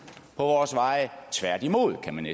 på vores veje tværtimod kan